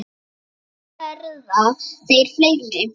Varla verða þeir fleiri.